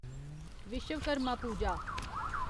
Vishwakarma Puja